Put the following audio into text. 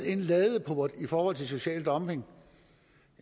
en ladeport i forhold til social dumping